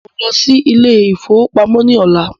Mó ń lọ sí ilé ìfọwọ́pamó ní ọ̀lá.